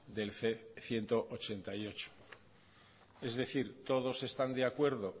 del ciento ochenta y ocho es decir todos están de acuerdo